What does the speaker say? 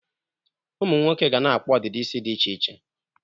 Ụmụ nwoke ga na-akpụ ọdịdị isi dị iche iche.